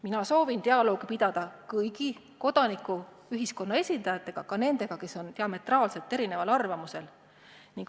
Mina soovin dialoogi pidada kõigi kodanikuühiskonna esindajatega, ka nendega, kes on diametraalselt erineval arvamusel.